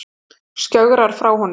Skjögrar frá honum.